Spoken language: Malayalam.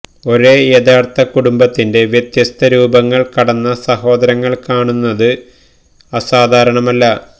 ഒരേ യഥാർത്ഥ കുടുംബത്തിന്റെ വ്യത്യസ്ത രൂപങ്ങൾ കടന്ന സഹോദരങ്ങൾ കാണുന്നത് അസാധാരണമല്ല